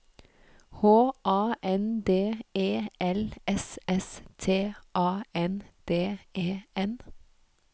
H A N D E L S S T A N D E N